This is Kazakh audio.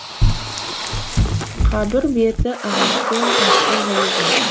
қабір беті ағашпен таспен жабылған